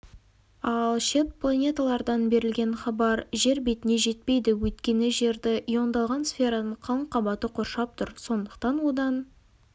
ал шет планеталардан берілген хабар жер бетіне жетпейді өйткені жерді иондалған сфераның қалың қабаты қоршап тұр сондықтан одан